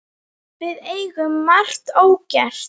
Við eigum margt ógert.